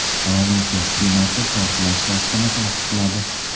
Provinsiya hukumati portlash faktini tasdiqladi.